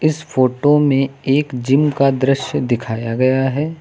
इस फोटो में एक जिम का दृश्य दिखाया गया है।